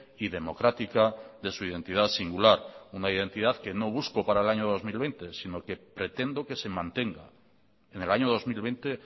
y democrática de su identidad singular una identidad que no busco para el año dos mil veinte sino que pretendo que se mantenga en el año dos mil veinte